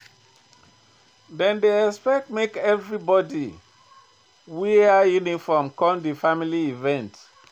Dem dey expect make everybodi wear uniform come di family event.